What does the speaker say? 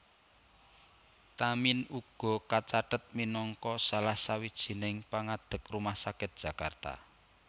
Tamin uga kacathet minangka salah sawijining pangadeg Rumah Sakit Jakarta